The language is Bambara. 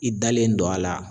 I dalen don a la